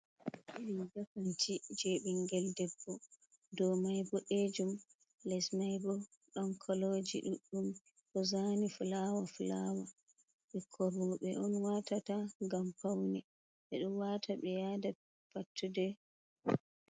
Riga kanti je ɓingel debbo dow mai boɗejum les maibo don koloji ɗudɗum ɗozani fulawa fulawa, ɓikkoi roɓɓe on watata gam paune ɓe ɗon wata ɓe yada pattude.